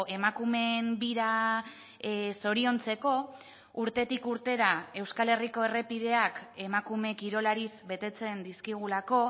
emakumeen bira zoriontzeko urtetik urtera euskal herriko errepideak emakume kirolariz betetzen dizkigulako